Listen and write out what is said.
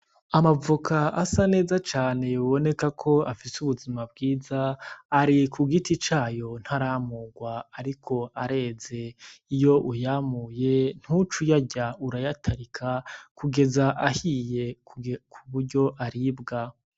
Amavoka asa neza cane yoboneka ko afise ubuzima bwiza, ari ku giti cayo ntaramurwa ariko areze, iyo uyamuye ntuce uyarya urayatarika kugeza ahiye kuburyo aribwa.